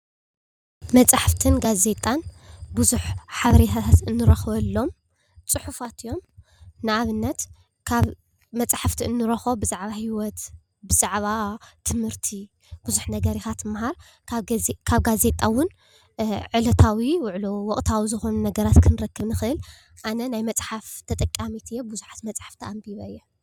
መፅሓፍትን ጋዜጣን ብዙሕ ሓበሬታታት እንረኽበሎም ፅሑፋት እዮም፡፡ ንኣብነት ካብ መፅሓፍቲ እንረኽቦ ብዛዕባ ሂወት ብዛዕባ ትምህርቲ ብዙሕ ነገር ኢኻ ትምሃር። ካብ ጋዜጣ ውን ዕለታዊ ውዕሎ ወቕታዊ ዝኾኑ ነገራት ክንረክብ ንኽእል። ኣነ ናይ መፅሓፍ ተጠቃሚት እየ ብዙሓት መፅሓፍቲ ኣንቢበ እየ፡፡